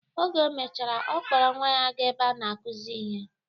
Oge o mechara, ọ kpọrọ nwa ya ga-ebe a na-akuzi ihe.